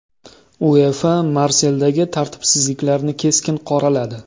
UEFA Marseldagi tartibsizliklarni keskin qoraladi.